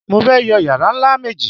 Mo fẹ́ yọ yàrá ńlá méjì